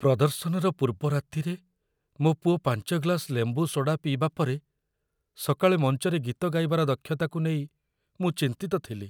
ପ୍ରଦର୍ଶନର ପୂର୍ବ ରାତିରେ ମୋ ପୁଅ ୫ ଗ୍ଲାସ୍ ଲେମ୍ବୁ ସୋଡ଼ା ପିଇବା ପରେ, ସକାଳେ ମଞ୍ଚରେ ଗୀତ ଗାଇବାର ଦକ୍ଷତାକୁ ନେଇ ମୁଁ ଚିନ୍ତିତ ଥିଲି।